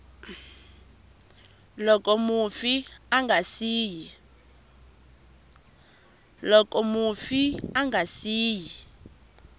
loko mufi a nga siyi